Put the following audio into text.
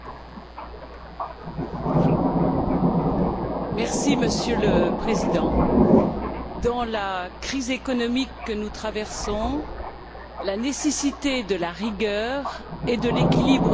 Monsieur le Président, dans la crise économique que nous traversons, la nécessité de la rigueur et de l'équilibre budgétaire est absolument certaine.